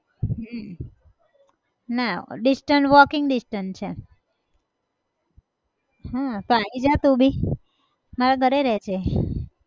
હમ ના distance walking distance છે હા તો આવી જા તું भी મારા ઘરે રહેજે.